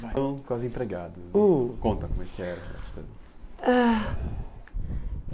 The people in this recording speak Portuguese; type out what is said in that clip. Então, com as empregadas, hum conta como é que era a relação. Ãh